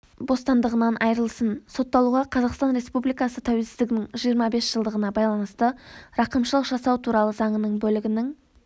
бостандығынан айырылсын сотталуға қазақстан республикасы тәуелсіздігінің жиырма бес жылдығына байланысты рақымшылық жасау туралы заңының бөлігінің